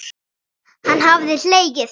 Hann hafði hlegið.